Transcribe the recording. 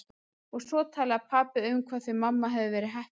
Og svo talaði pabbi um hvað þau mamma hefðu verið heppin!